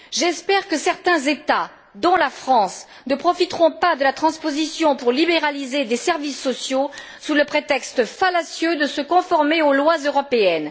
J'espère que certains États, dont la France, ne profiteront pas de la transposition pour libéraliser des services sociaux, sous le prétexte fallacieux de se conformer aux lois européennes.